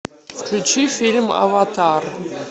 включи фильм аватар